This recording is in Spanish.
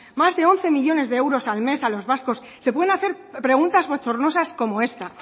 más de once millónes de euros al mes a los vascos se pueden hacer preguntas bochornosas como esta